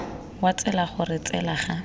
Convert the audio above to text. wa tsela gore tsela ga